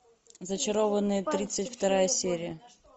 зачарованные тридцать вторая серия